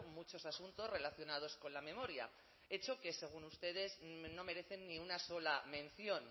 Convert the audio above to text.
muchos asuntos relacionados con la memoria hechos que según ustedes no merecen ni una sola mención